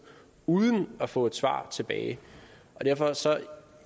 uden at få et svar tilbage så